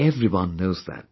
Everyone knows that